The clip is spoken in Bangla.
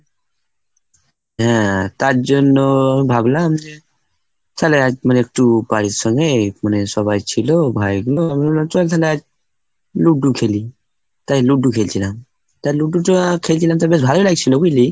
হ্যাঁ, তার জন্য ভাবলাম যে তাহলে আজ মানে একটু বাড়ির সঙ্গে মানে সবাই ছিল, ভাইগুলো আমি বললাম চল লুড্ডু খেলি। তাই লুড্ডু খেলছিলাম, তাই লুডুটা খেলছিলাম তো বেশ ভালোই লাগছিল, বুঝলি?